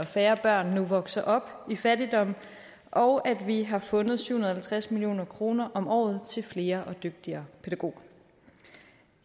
færre børn nu vokser op i fattigdom og at vi har fundet syv hundrede og halvtreds million kroner om året til flere og dygtigere pædagoger